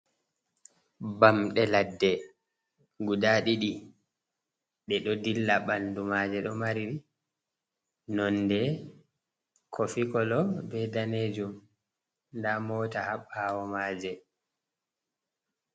Bamɗe ladde guda ɗiɗi, ɗe ɗo dilla. Ɓandu maaje ɗo mari nonde kofi kolo be daneejum. Ɲda moota haa baawo maaje.